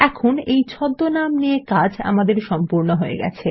এখন এই ছদ্মনাম নিয়ে কাজ আমাদের সম্পূর্ণ হয়ে গেছে